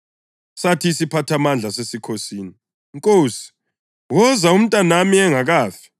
Sathi isiphathamandla sasesikhosini, “Nkosi, woza umntanami engakafi.”